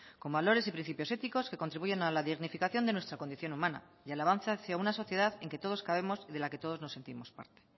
con valores y principios éticos que contribuyen a la dignificación de nuestra condición humana y alabanza hacia una sociedad en que todos cabemos y de la que todos nos sentimos parte